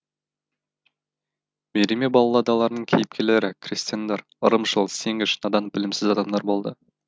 мериме балладаларының кейіпкерлері крестьяндар ырымшыл сенгіш надан білімсіз адамдар болды